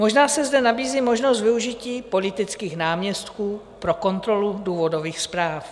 Možná se zde nabízí možnost využití politických náměstků pro kontrolu důvodových zpráv.